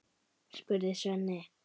spurði Svenni.